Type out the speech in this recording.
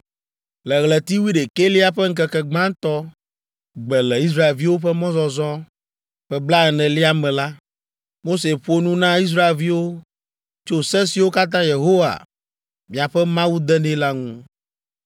Le ɣleti wuiɖekɛlia ƒe ŋkeke gbãtɔ gbe le Israelviwo ƒe mɔzɔzɔ ƒe blaenelia me la, Mose ƒo nu na Israelviwo tso se siwo katã Yehowa miaƒe Mawu de nɛ la ŋu.